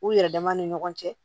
U yɛrɛ dama ni ɲɔgɔn cɛ